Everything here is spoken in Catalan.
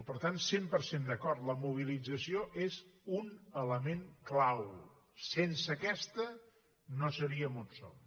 per tant cent per cent d’acord la mobilització és un element clau sense aquesta no seríem on som